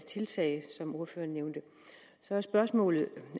tiltag som ordføreren nævnte så er spørgsmålet